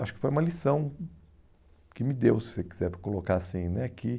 Acho que foi uma lição que me deu, se você quiser colocar assim né que